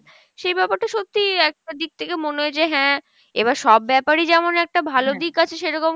সেই ব্যাপার টা সত্যিই একটা দিক থেকে মনে হয় যে হ্যাঁ, এবার সব ব্যাপারই যেমন একটা ভালো দিক আছে সেরকম